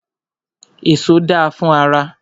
Èso da fún ara.